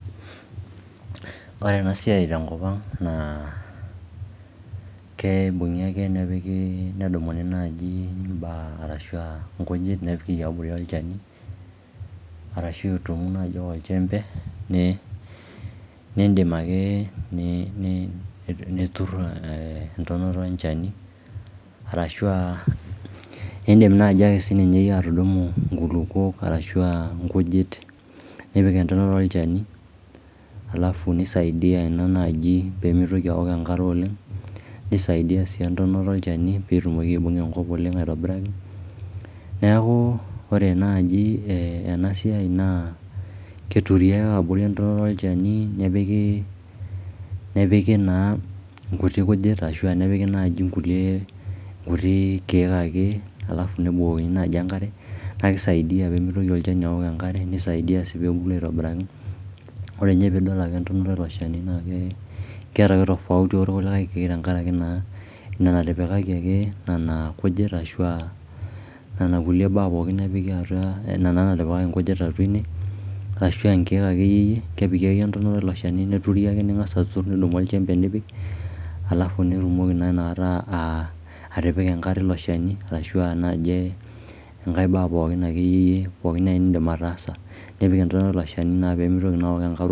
Ore ena siai tenkopang naa keibung'i ake nepiki nedumuni naaji imbaak ashu inkujit naapiki abori olchani arashu itum naaji oljembe niindim ake niturr entonota olchani arashu aa indiim naaji siininye atudumu nkulukwok arashu aa nkujit nipik entonota olchani alafu neisadia ina naaji peemitoki awok enkare oleng, neisaidia sii entonota olchani peetumoki aibung'a enkop oleng aitobiraki. Neeku ore naaji ena siai naa keturi ake abori entonota olchani nepiki naa nkuti kujit ashu nepiki naai nkulie, nkuti kiek ake alafu nebukokini naaji enkare nakisaidia peemitoki olchani aok enkare neisaidia sii peebulu aitobiraki. Ore ninye piidol entonota ilo shani keeta ake tofauti orkulikae duo kiek tenkaraki naa ina natipikaki ake nena kujit ashu aa nena kulie baak ake pookin naatipika nkujit atwa ine ashu nkiek ake iyie kepiki ake entonota ilo shani neturi ake, ning'as aturr nidumu oljembe nipik alafu nirrumoki naa inakata atipika enkare ilo shani ashu naaji enkae bae akeyie pookin naai niindim ataasa nipik entonota ilo shani peemitoki aok enkare oleng